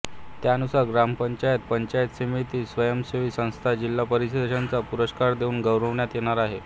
त्यानुसार ग्रामपंचायत पंचायत समिती स्वयंसेवी संस्था जिल्हा परिषदांना पुरस्कार देऊन गौरविण्यात येणार आहे